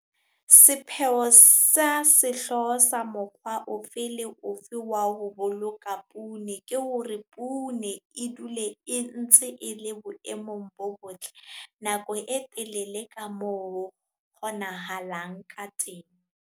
Sepheo sa sehlooho sa mokgwa ofe le ofe wa ho boloka poone ke hore poone e dule e ntse e le boemong bo botle nako e telele ka moo ho kgonahalang ka teng.